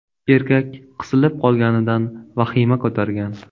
Erkak qisilib qolganidan vahima ko‘targan.